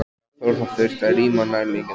Hafþór: Það þurfti að rýma nærliggjandi hús?